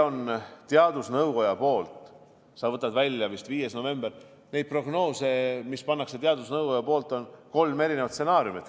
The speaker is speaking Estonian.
Sa võtsid välja vist 5. novembri, aga meil on nendes prognoosides, mida teadusnõukoda teeb, kolm erinevat stsenaariumit.